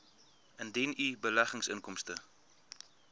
indien u beleggingsinkomste